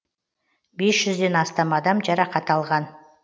бес жүзден астам адам жарақат алған